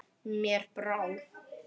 Mér brá.